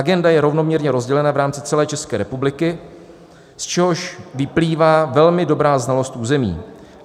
Agenda je rovnoměrně rozdělena v rámci celé České republiky, z čehož vyplývá velmi dobrá znalost území.